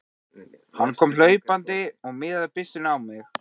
Hann kom hlaupandi og miðaði byssunni á mig.